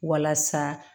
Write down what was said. Walasa